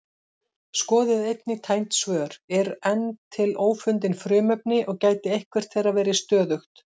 Skoðið einnig tengd svör: Eru enn til ófundin frumefni og gæti eitthvert þeirra verið stöðugt?